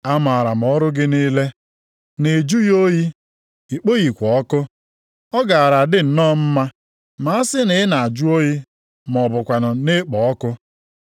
Amaara m ọrụ gị niile, na ị jụghị oyi, i kpoghịkwa ọkụ. Ọ gaara adị nnọọ mma ma asị na ị na-ajụ oyi ma ọ bụkwanụ na-ekpo ọkụ.